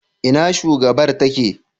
Ina shugabar ta take?